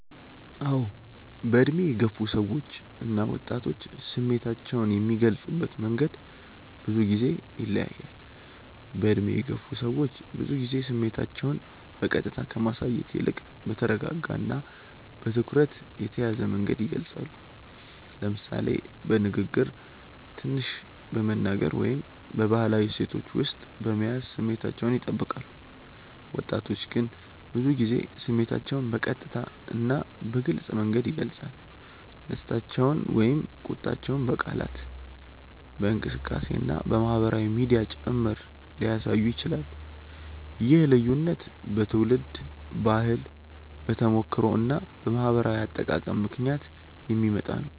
አዎ፣ በዕድሜ የገፉ ሰዎች እና ወጣቶች ስሜታቸውን የሚገልጹበት መንገድ ብዙ ጊዜ ይለያያል። በዕድሜ የገፉ ሰዎች ብዙ ጊዜ ስሜታቸውን በቀጥታ ከማሳየት ይልቅ በተረጋጋ እና በትኩረት የተያዘ መንገድ ይገልጻሉ፤ ለምሳሌ በንግግር ትንሽ በመናገር ወይም በባህላዊ እሴቶች ውስጥ በመያዝ ስሜታቸውን ይጠብቃሉ። ወጣቶች ግን ብዙ ጊዜ ስሜታቸውን በቀጥታ እና በግልጽ መንገድ ይገልጻሉ፤ ደስታቸውን ወይም ቁጣቸውን በቃላት፣ በእንቅስቃሴ እና በማህበራዊ ሚዲያ ጭምር ሊያሳዩ ይችላሉ። ይህ ልዩነት በትውልድ ባህል፣ በተሞክሮ እና በማህበራዊ አጠቃቀም ምክንያት የሚመጣ ነው።